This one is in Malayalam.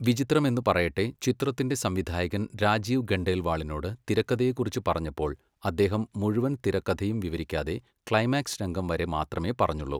വിചിത്രമെന്നു പറയട്ടെ, ചിത്രത്തിന്റെ സംവിധായകൻ രാജീവ് ഖണ്ഡേൽവാളിനോട് തിരക്കഥയെക്കുറിച്ച് പറഞ്ഞപ്പോൾ അദ്ദേഹം മുഴുവൻ തിരക്കഥയും വിവരിക്കാതെ ക്ലൈമാക്സ് രംഗം വരെ മാത്രമേ പറഞ്ഞുള്ളൂ.